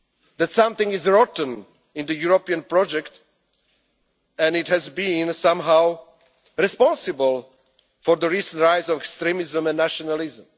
That something is rotten in the European project and it has been somehow responsible for the recent rise of extremism and nationalism.